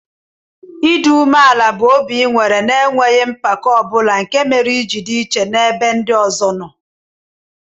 Idi umeala bu obi inwere na enweghi mpako obula nke mere iji di iche na ebe ndi ọzọ noo.